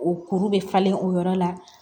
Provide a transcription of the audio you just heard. O kuru bɛ falen o yɔrɔ la